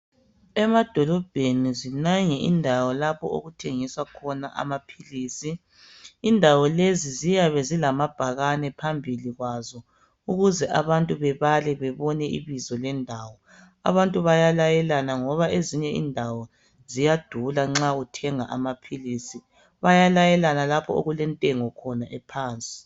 Emadolobheni zinengi indawo lapho okuthengiswa khona amaphilisi. Indawo lezi ziyabe zilamabhakane phambili kwazo ukuze abantu babale babone ibizo lendawo. Abantu bayalayelana ngoba esinye indawo siyadula nxa uthenga amaphilisi bayalayelana lapho okulentengo khona ephansi.